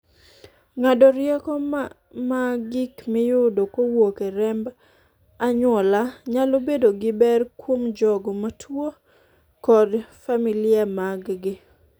ng'ado rieko ma gik miyudo kowuok e remb anyuola nyalo bedo gi ber kuom jogo mar juo kod familia mag gi